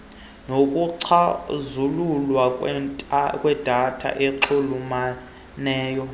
nokucazululwa kwedata enxulumeneyo